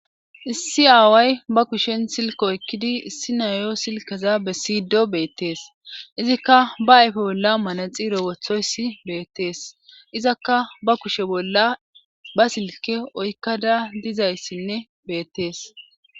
issi aaway ba kushen silko ekkidi issi nayo silkeza be siydo beettees izikka ba ayfe bolla manaxiro wothoyssi beettees izakka ba kushe bolla ba silke oykkada dizayssinne beettees